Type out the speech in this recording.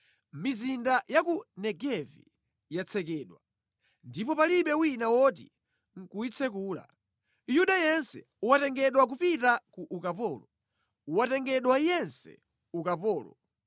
Mizinda ya ku Negevi yatsekedwa ndipo palibe wina woti nʼkuyitsekula. Yuda yense watengedwa kupita ku ukapolo, watengedwa yense ukapolo.